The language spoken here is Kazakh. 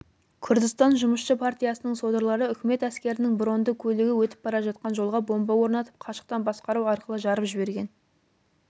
күрдістан жұмысшы партиясының содырлары үкімет әскерінің бронды көлігі өтіп бара жатқан жолға бомба орнатып қашықтан басқару арқылы жарып жіберген